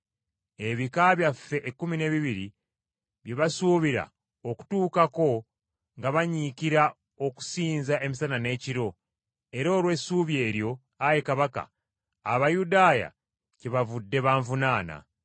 ebika byaffe ekkumi n’ebibiri bye basuubira okutuukako nga banyiikira okusinza emisana n’ekiro; era olw’essuubi eryo, ayi kabaka, Abayudaaya kyebavudde banvunaana.